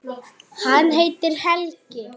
Hann heitir Helgi.